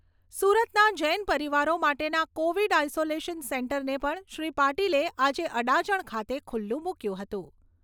સુરતના જૈન પરિવારો માટેના કોવિડ આઇસોલેશન સેન્ટરને પણ શ્રી પાટિલે આજે અડાજણ ખાતે ખુલ્લુ મૂક્યું હતું.